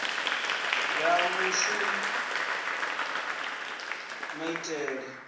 ya muvhuso ya maitele a